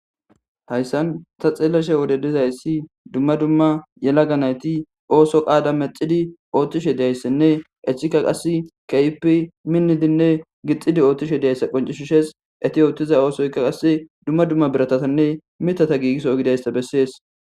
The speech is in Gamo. Hayssan ta xeelashe wode dizaysi dumma dumma yelaga nayti ooso qaada medhidi oothishe diyayasanne hesika qasi keehippe minidinne gixidi oothishe diyaysa qonccisises eeti ootiza oothoyka qasi dumma dumma biratatanne mithata gigiso gididayssa besees.